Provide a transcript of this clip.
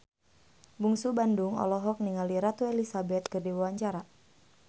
Bungsu Bandung olohok ningali Ratu Elizabeth keur diwawancara